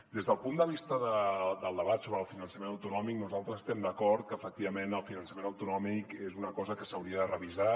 des del punt de vista del debat sobre el finançament autonò·mic nosaltres estem d’acord que efectivament el finançament autonòmic és una cosa que s’hauria de revisar